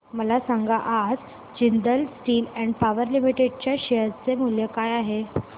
मला सांगा आज Jindal steel and power limited च्या शेअर चे मूल्य काय आहे